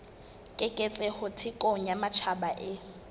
keketseho thekong ya matjhaba e